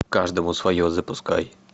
каждому свое запускай